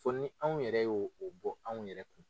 Fo ni anw yɛrɛ y'o o bɔ anw yɛrɛ kun